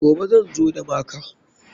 Gobe zan zo da maka.